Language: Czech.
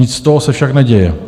Nic z toho se však neděje.